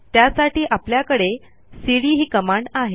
त्यासाठी आपल्याकडे सीडी ही कमांड आहे